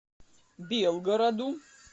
белгороду